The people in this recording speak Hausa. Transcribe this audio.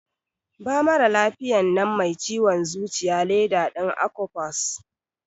Ba maralafiyan nan mai ciwon zuciya leda din Akopas.